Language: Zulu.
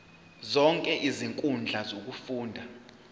zonke izinkundla zokufunda